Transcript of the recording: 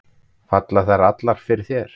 Falla þær allar fyrir þér?